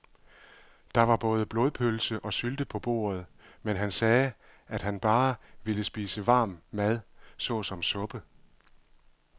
Der var både blodpølse og sylte på bordet, men han sagde, at han bare ville spise varm mad såsom suppe.